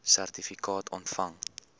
sertifikaat ontvang